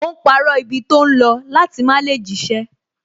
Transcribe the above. Ó ń parọ́ ibi tó ń lọ láti má lè jíṣẹ́